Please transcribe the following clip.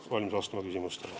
Olen valmis vastama küsimustele.